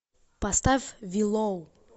поставь уиллоу